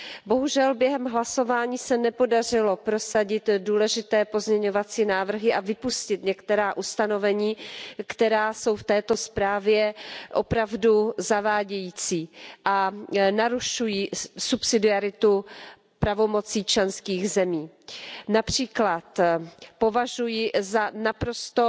Bohužel během hlasování se nepodařilo prosadit důležité pozměňovací návrhy a vypustit některá ustanovení, která jsou v této zprávě opravdu zavádějící a narušují subsidiaritu pravomocí členských zemí. Například považuji za naprosto